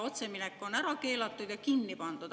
Otseminek on ära keelatud ja kinni pandud.